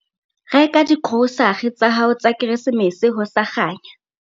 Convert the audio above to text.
Reka digrosare tsa hao tsa Keresemese ho sa kganya.